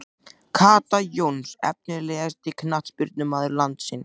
Kata Jóns Efnilegasti knattspyrnumaður landsins?